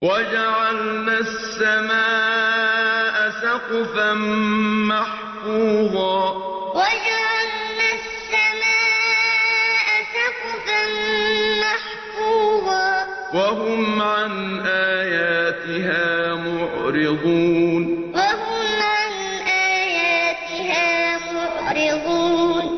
وَجَعَلْنَا السَّمَاءَ سَقْفًا مَّحْفُوظًا ۖ وَهُمْ عَنْ آيَاتِهَا مُعْرِضُونَ وَجَعَلْنَا السَّمَاءَ سَقْفًا مَّحْفُوظًا ۖ وَهُمْ عَنْ آيَاتِهَا مُعْرِضُونَ